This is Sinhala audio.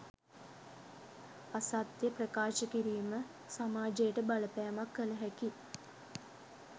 අසත්‍ය ප්‍රකාශ කිරීම සමාජයට බලපෑමක් කලහැකි